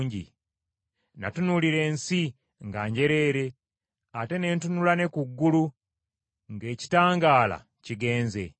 Natunuulira ensi, nga njereere, ate ne ntunula ne ku ggulu, ng’ekitangaala kigenze.